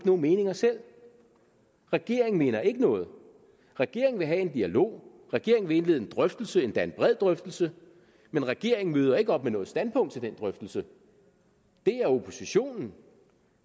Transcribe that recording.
nogen meninger selv regeringen mener ikke noget regeringen vil have en dialog regeringen vil indlede en drøftelse endda en bred drøftelse men regeringen møder ikke op med noget standpunkt til den drøftelse det er oppositionen